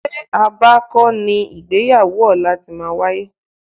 Ṣé Aba kọ́ ni ìgbéyàwó ọ̀la ti máa wáyé?